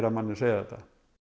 manninn segja þetta